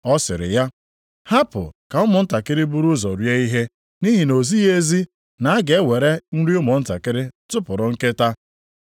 Ọ sịrị ya, “Hapụ ka ụmụntakịrị buru ụzọ rie ihe, nʼihi na o zighị ezi na a ga-ewere nri ụmụntakịrị tụpụrụ nkịta.”